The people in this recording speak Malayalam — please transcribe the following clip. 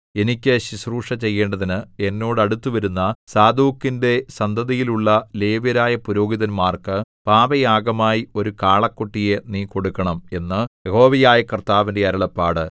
എനിക്ക് ശുശ്രൂഷ ചെയ്യേണ്ടതിന് എന്നോട് അടുത്തുവരുന്ന സാദോക്കിന്റെ സന്തതിയിലുള്ള ലേവ്യരായ പുരോഹിതന്മാർക്ക് പാപയാഗമായി ഒരു കാളക്കുട്ടിയെ നീ കൊടുക്കണം എന്ന് യഹോവയായ കർത്താവിന്റെ അരുളപ്പാട്